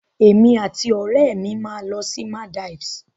Èmi àti òrẹ́mi máa lọ sí Maldives